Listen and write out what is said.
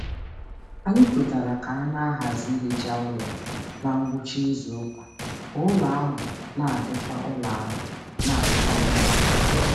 Anyị kwetara ka a na-ahazi ihicha ụlọ na ngwụcha izu ụka ka ụlọ ahụ na-adịkwa ụlọ ahụ na-adịkwa mma mgbe niile.